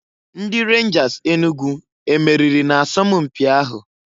Ndi Renjas Enugu e meriri na asọmụ mpị ahụ?